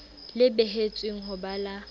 le behetsweng ho ba la